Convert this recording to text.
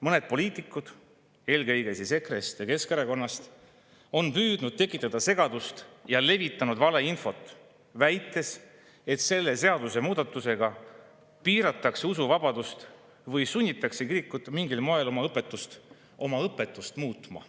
Mõned poliitikud, eelkõige EKRE‑st ja Keskerakonnast, on püüdnud tekitada segadust ja levitanud valeinfot, väites, et selle seadusemuudatusega piiratakse usuvabadust või sunnitakse kirikut mingil moel oma õpetust muutma.